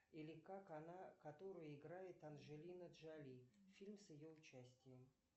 или как она которую играет анджелина джоли фильм с ее участием